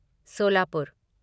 Solapur